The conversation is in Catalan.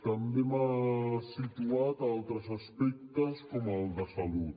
també m’ha situat altres aspectes com el de salut